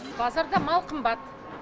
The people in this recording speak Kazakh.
базарда мал қымбат